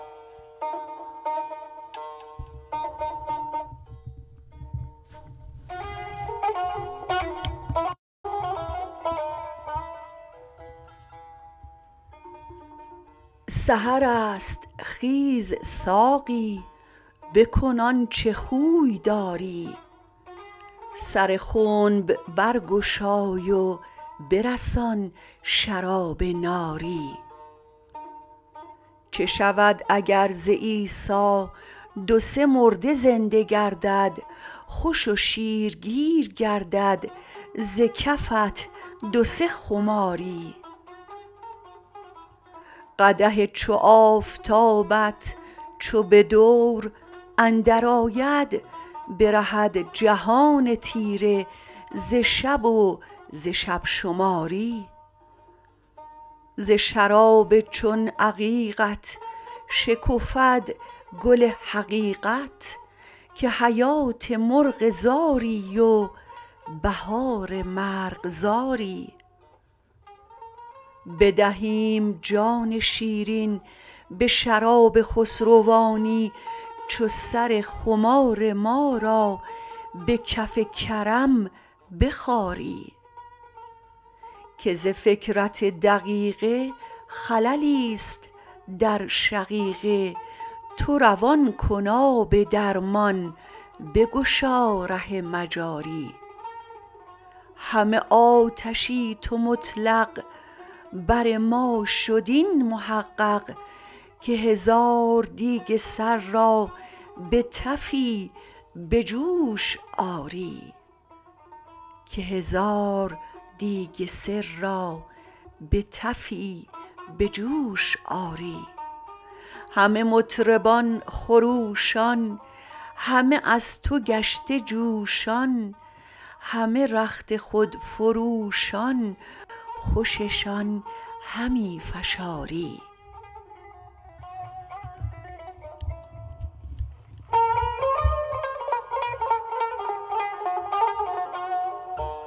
سحر است خیز ساقی بکن آنچ خوی داری سر خنب برگشای و برسان شراب ناری چه شود اگر ز عیسی دو سه مرده زنده گردد خوش و شیرگیر گردد ز کفت دو سه خماری قدح چو آفتابت چو به دور اندرآید برهد جهان تیره ز شب و ز شب شماری ز شراب چون عقیقت شکفد گل حقیقت که حیات مرغ زاری و بهار مرغزاری بدهیم جان شیرین به شراب خسروانی چو سر خمار ما را به کف کرم بخاری که ز فکرت دقیقه خللی است در شقیقه تو روان کن آب درمان بگشا ره مجاری همه آتشی تو مطلق بر ما شد این محقق که هزار دیگ سر را به تفی به جوش آری همه مطربان خروشان همه از تو گشته جوشان همه رخت خود فروشان خوششان همی فشاری